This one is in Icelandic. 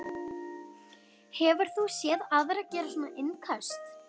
Hefur þú séð aðra gera svona innköst?